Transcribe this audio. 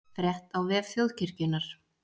Frétt á vef Þjóðkirkjunnar